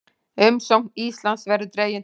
Umsókn Íslands verði dregin til baka